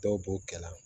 Dɔw b'o kɛ la